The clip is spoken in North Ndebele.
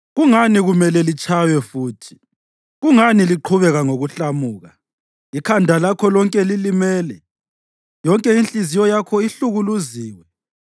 Kungani kumele litshaywe futhi? Kungani liqhubeka ngokuhlamuka? Ikhanda lakho lonke lilimele, yonke inhliziyo yakho ihlukuluziwe.